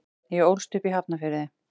Ég ólst upp í Hafnarfirði.